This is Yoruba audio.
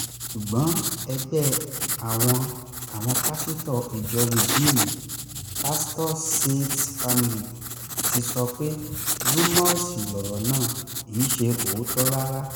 ṣùgbọ́n ẹgbẹ́ àwọn àwọn pásítọ̀ ìjọ ridiimú pastorsseeds family ti sọ pé rúmọọ̀sì lọ̀rọ̀ náà kì í ṣe òótọ́ rárá